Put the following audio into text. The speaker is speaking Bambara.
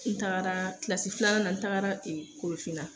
N taara filanan n tagara korofinna